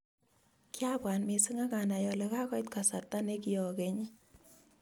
Kiabwat mising akanai ale kakoit kasarta ne kiokenyi